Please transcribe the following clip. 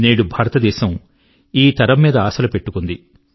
నేడు భారతదేశం ఈ తరం మీద ఆశలు పెట్టుకున్నది